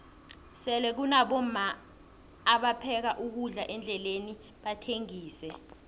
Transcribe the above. sele kunabomma apheka ukudla endleleni bakuthengixe